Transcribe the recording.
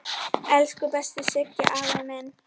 Elsku besti Siggi afi minn.